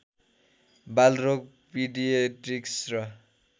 बालरोग पीडियेट्रिक्स र